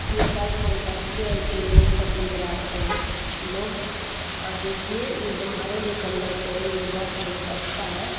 यह बस बहुत अच्छी है । इसमें बहुत पैसेंजर आते है। लोग और देखिये इसमे भाड़े भी कम लगते है। ये बस बहुत अच्छा है।